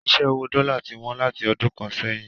Ṣíṣẹ́ owó dọ́là ti wọ́n láti ọdún kan sẹ́yìn.